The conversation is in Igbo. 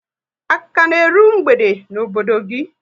A ka na eru mgbede n'obodo gị?